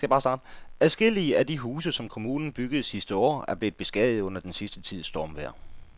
Adskillige af de huse, som kommunen byggede sidste år, er blevet beskadiget under den sidste tids stormvejr.